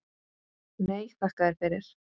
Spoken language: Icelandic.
Nei, þakka þér fyrir.